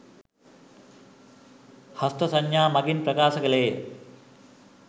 හස්ත සංඥා මඟින් ප්‍රකාශ කෙළේ ය